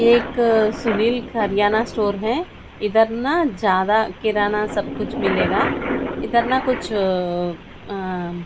एक सुनील खरियाना स्टोर है इधर न ज्यादा किराना सब कुछ मिलेगा इधर न कुछ अ अ --